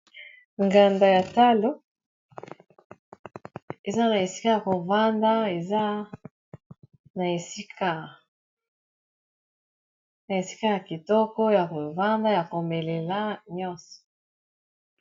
Nganda ya talo eza na esika yako vanda eza na esika ya kitoko ya kovanda ya komelela nyonso.